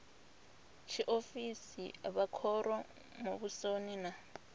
tshiofisi vha khoro muvhusoni na